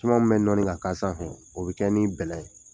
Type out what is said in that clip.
Siman min bɛ nɔɔni ŋa k'a sanfɛ, o be kɛ ni bɛlɛ ye.